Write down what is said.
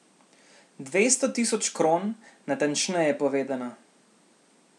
Dvesto tisoč kron, natančneje povedano.